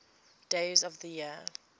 days of the year